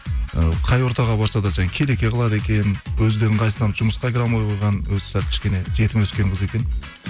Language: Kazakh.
ы қай ортаға барса да жаңа келеке қылады екен өзі де ыңғайсызданып жұмысқа кіре алмай қойған өзі сәл кішкене жетім өскен қыз екен